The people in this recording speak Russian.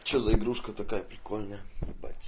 что за игрушка такая прикольная ебать